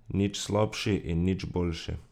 Nič slabši in nič boljši.